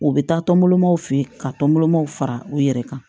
U bɛ taa tɔnbɔw fɛ ka tɔnbɔlɔmaw fara u yɛrɛ kan